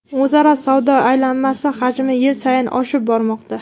O‘zaro savdo aylanmasi hajmi yil sayin oshib bormoqda.